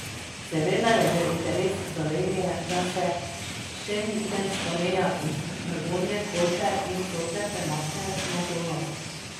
Seveda je v interesu Slovenije, da se šengenska meja iz Dragonje, Kolpe in Sotle premakne na Donavo.